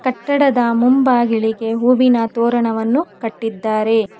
ಕಟ್ಟಡದ ಮುಂಭಾಗಿಲಿಗೆ ಹೂವಿನ ತೋರಣವನ್ನು ಕಟ್ಟಿದ್ದಾರೆ.